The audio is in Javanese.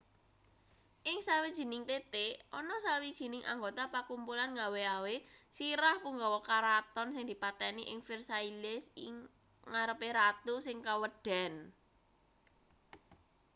ing sawijining titik ana sawijining anggota pakumpulan ngawe-awe sirah punggawa kraton sing dipateni ing versailles ing ngarepe ratu sing kaweden